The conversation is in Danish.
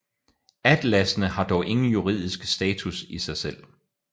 Atlassene har dog ingen juridisk status i sig selv